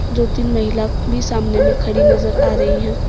दो तीन महिला भी सामने मे खड़ी नजर आ रही है।